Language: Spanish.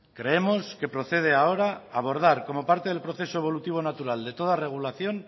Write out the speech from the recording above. creemos que procede ahora abordar como parte del proceso evolutivo natural de toda regulación